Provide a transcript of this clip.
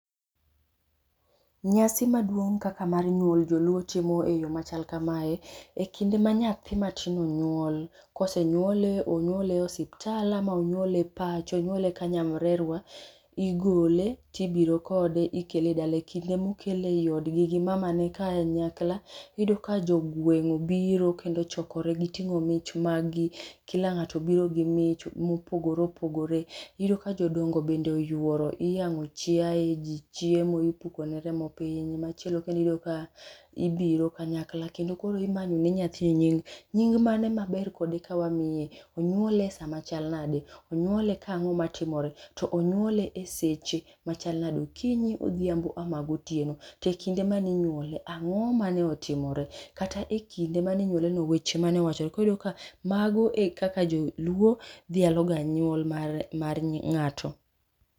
nyasi maduong' kaka mar nyuol joluo timo e yo machal kamae, e kinde ma nyathi matin onyuol, kosenyuole onyuole osiptal ama onyuole pacho onyuole kanyamrerwa, igole tibiro kode ikele e dala e kinde mokele e yi odgi gi mamane kaen nyakla, iyudo ka jogweng' obiro kendo ochokore, giting'o mich maggi, kila ng'ato obiro gi mich mopogore opogore, iyudo ka jodongo bende oyworo iyang'o chiae ji chiemo ipuko ne remo piny machielo kendo iyudo ka, ibiro kanyakla kendo koro imanyo ne nyathini nying. Nying mane ma ber kode kawamiye, onyuol e saa machal nade, onyuole ka ang'o matimore to onyuole e seche machal nade, okinyi, odhiambo ama gotieo, tekinde maninyuole ang'o mane otimore kata e kinde mane inyuole no weche mane wachore koro iyudo ka mao ekaka joluo dhialo ga nyuol mare mar ng'ato